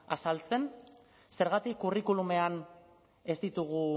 azaltzen zergatik curriculumean ez ditugu